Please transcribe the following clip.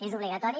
és obligatori